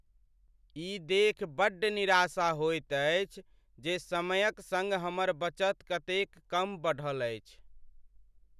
ई देखि बड्ड निराशा होइत अछि जे समयक संग हमर बचत कतेक कम बढ़ल अछि।